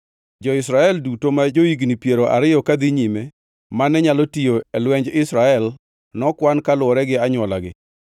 Jo-Israel duto ma jo-higni piero ariyo kadhi nyime mane nyalo tiyo e lwenj Israel nokwan kaluwore gi anywolagi.